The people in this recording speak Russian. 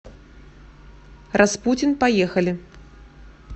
распутин поехали